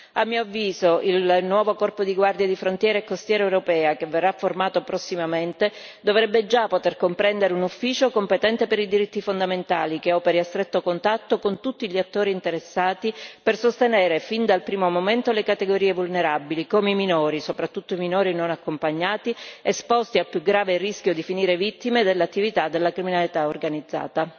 A mio avviso, il nuovo corpo di guardie di frontiera e costiere europeo che verrà formato prossimamente dovrebbe già poter comprendere un ufficio competente per i diritti fondamentali, che operi a stretto contatto con tutti gli attori interessati per sostenere fin dal primo momento le categorie vulnerabili come i minori, soprattutto i minori non accompagnati, esposti al più grave rischio di finire vittime dell'attività della criminalità organizzata.